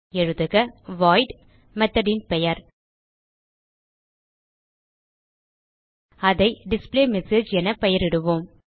எழுதுக void method ன் பெயர் அதை டிஸ்பிளேமெஸேஜ் என பெயரிடுவோம்